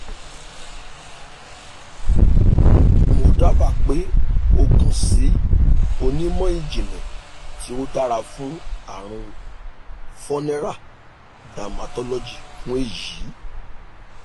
mo daba pe o kan si onimọ-jinlẹ ti o dara fun arun vuneral (dermatologist) fun eyi